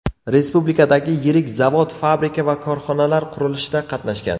Respublikadagi yirik zavod-fabrika va korxonalar qurilishida qatnashgan.